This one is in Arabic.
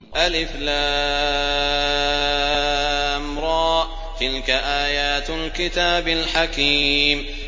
الر ۚ تِلْكَ آيَاتُ الْكِتَابِ الْحَكِيمِ